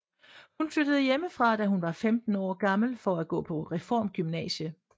Hun flyttede hjemmefra da hun var 15 år gammel for at gå på reformgymnasie